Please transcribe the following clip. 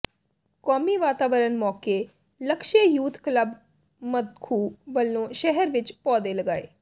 ਕੌਮੀ ਵਾਤਾਵਰਨ ਮੌਕੇ ਲਕਸ਼ੇ ਯੂਥ ਕਲੱਬ ਮਖੁੂ ਵੱਲੋਂ ਸ਼ਹਿਰ ਵਿਚ ਪੌਦੇ ਲਗਾਏ